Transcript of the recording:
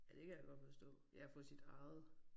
Ja det kan jeg godt forstå. Ja at få sit eget